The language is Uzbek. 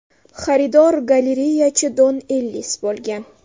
Xaridor galereyachi Don Ellis bo‘lgan.